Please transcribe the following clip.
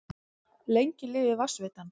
Lengi lifi Vatnsveitan!